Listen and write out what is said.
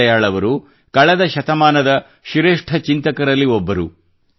ದೀನ್ ದಯಾಳ್ ಅವರು ಕಳೆದ ಶತಮಾನದ ಶ್ರೇಷ್ಠ ಚಿಂತಕರಲ್ಲಿ ಒಬ್ಬರು